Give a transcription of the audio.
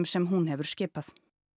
sem hún hefur skipað